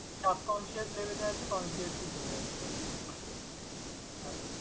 Subconscious level এ আছে, consciously চলে আসবে আরকি হ্যাঁ।